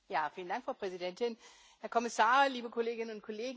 Frau Präsidentin, Herr Kommissar, liebe Kolleginnen und Kollegen!